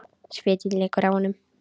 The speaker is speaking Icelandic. Svitinn lekur af honum.